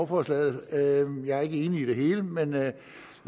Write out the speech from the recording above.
forslaget jeg er ikke enig i det hele men lad